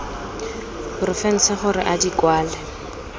porofense gore a di kwale